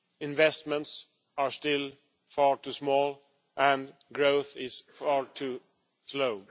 Investments are still far too small, and growth is far too slow.